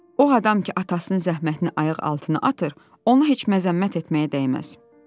O adam ki atasının zəhmətini ayaq altına atır, onu heç məzəmmət etməyə dəyməz.